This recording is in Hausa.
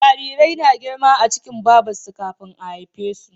Jarirai na girma a cikin Babar su kafin a haife su